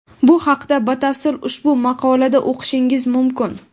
Bu haqda batafsil ushbu maqolada o‘qishingiz mumkin.